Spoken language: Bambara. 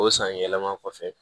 O sanyɛlɛma kɔfɛ